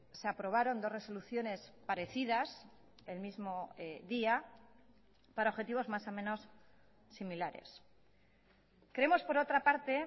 se aprobaron dos resoluciones parecidas el mismo día para objetivos más o menos similares creemos por otra parte